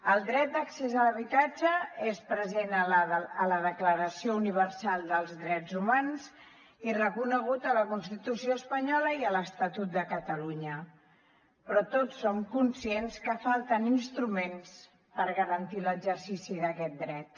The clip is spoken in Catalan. el dret d’accés a l’habitatge és present a la declaració universal dels drets humans i reconegut a la constitució espanyola i a l’estatut de catalunya però tots som conscients que falten instruments per garantir l’exercici d’aquest dret